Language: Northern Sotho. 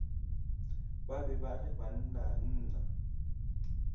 ba be ba re bannanna